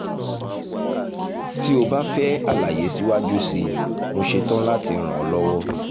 tí o bá fẹ́ àlàyé síwájú sí i mo ṣe tán láti ràn ọ́ lọ́wọ́